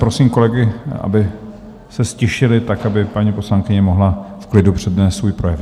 Prosím kolegy, aby se ztišili tak, aby paní poslankyně mohla v klidu přednést svůj projev.